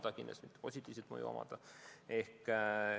Päris kindlasti pole sel positiivset mõju.